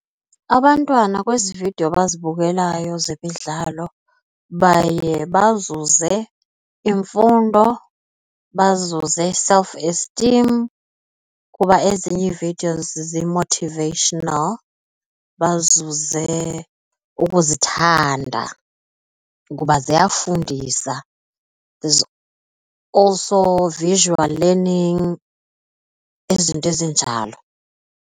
Abantwana kwezi vidiyo bazibukelayo zemidlalo baye bazuze imfundo, bazuze self-esteem kuba ezinye ii-videos zi-motivational, bazuze ukuzithanda, kuba ziyafundisa also visual learning izinto ezinjalo